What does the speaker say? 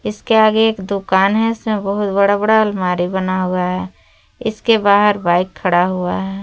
इसके आगे एक दुकान है इसमें बहुत बड़ा बड़ा अलमारी बना हुआ है इसके बाहर बाइक खड़ा हुआ है।